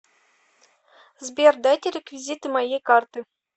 сбер дайте реквизиты моей карты